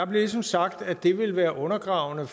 blev ligesom sagt at det ville være undergravende